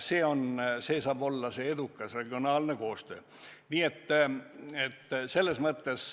See saab olla meie eduka regionaalse koostöö vorm.